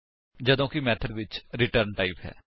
ਜਦੋਂ ਕਿ ਮੇਥਡ ਵਿੱਚ ਰਿਟਰਨ ਟਾਈਪ ਹੈ